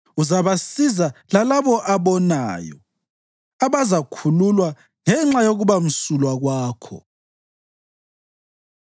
Uzabasiza lalabo abonayo, abazakhululwa ngenxa yokubamsulwa kwakho.”